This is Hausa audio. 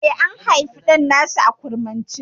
Eh, an haifi ɗan nasu a kurmance?